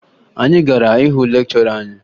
Anyị gara hụ lekchọra anyị